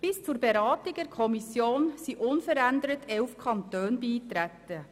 Bis zur Beratung in der Kommission waren unverändert 11 Kantone beigetreten.